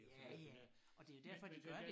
Ja ja og det jo derfor de gør det